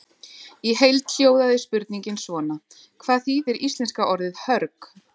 Í heild hljóðaði spurningin svona: Hvað þýðir íslenska orðið hörg?